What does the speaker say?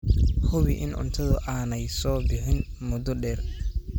Hubi in cuntadu aanay soo bixin muddo dheer.